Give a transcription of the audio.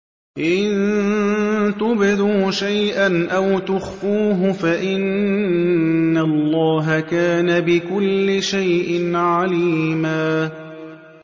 إِن تُبْدُوا شَيْئًا أَوْ تُخْفُوهُ فَإِنَّ اللَّهَ كَانَ بِكُلِّ شَيْءٍ عَلِيمًا